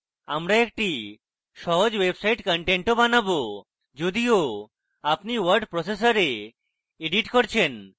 আমরা একটি সহজ website content বানাবো যদিও আপনি word processor এডিট করছেন